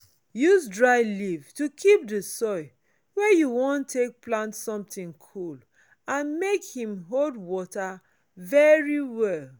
use dry leaf to keep di soil wey you wan take plant sometin cool and make hin hold water very well.